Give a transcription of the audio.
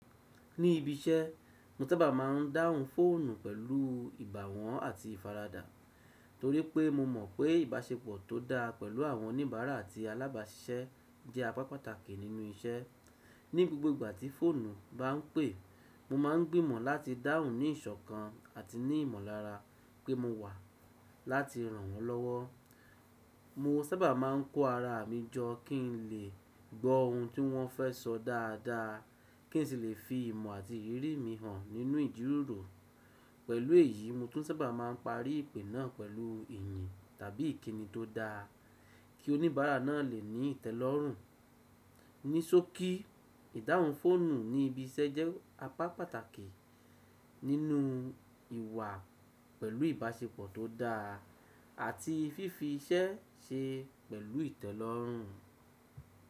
Ní ibi iṣẹ́ mo sábà máa ń dáhùn fóònù pẹ̀lú ìbàwọ́n àti ìfaradà torí pé mo mọ̀ pé ìbáṣepọ̀ tó dáa pẹ̀lú àwọn oníbàárà àti alábàáṣiṣẹ́ jẹ́ apá pàtàkì nínú iṣẹ́. Ní gbogbo ìgbà tí fóònù bá ń pè, mo máa ń gbìmọ̀ láti dáhùn ní ìṣọ̀kan àti ní ìmọ̀lára pé mo wà láti ràn wọ́n lọ́wọ́. Mo sábà máa ń kó ara mi jọ kí n lè gbọ́ ohun tí wọ́n fẹ́ sọ dáadáa kí n sì lè fi ìmọ̀ àti ìrírí mi hàn nínú ìjíròrò. Pẹ̀lú èyí, mo tún sábà máa ń parí ìpè náà pẹ̀lú ìyìn tàbí ìkíni tó dáa kí oníbàárà náà lè ní ìtẹ́lọ́rùn. Ní sókí, ìdáhùn fóònù ní ibi iṣẹ́ jẹ́ apá pàtàkì nínú ìwà pẹ̀lú ìbáṣepọ̀ tó dáa àti fífi iṣẹ́ ṣe pẹ̀lú ìtẹ́lọ́rùn.